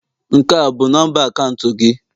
Nke a bụ nọmba akaụntụ gị?